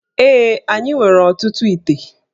Ee, anyị nwere ọtụtụ íté